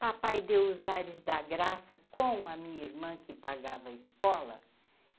Papai deu os ares da graça com a minha irmã que pagava a escola.